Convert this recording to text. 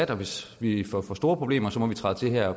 at hvis vi får for store problemer må vi træde til her